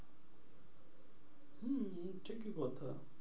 হম সে কি কথা?